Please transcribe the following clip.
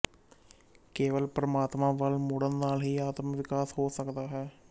ਕੇਵਲ ਪਰਮਾਤਮਾ ਵੱਲ ਮੁੜਨ ਨਾਲ ਹੀ ਆਤਮਕ ਵਿਕਾਸ ਹੋ ਸਕਦਾ ਹੈ